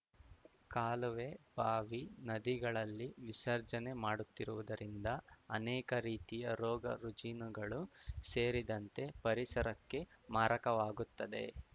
ಕಾಲುವೆ ಬಾವಿ ನದಿಗಳಲ್ಲಿ ವಿಸರ್ಜನೆ ಮಾಡುತ್ತಿರುವುದರಿಂದ ಅನೇಕ ರೀತಿಯ ರೋಗ ರುಜಿನಗಳು ಸೇರಿದಂತೆ ಪರಿಸರಕ್ಕೆ ಮಾರಕವಾಗುತ್ತದೆ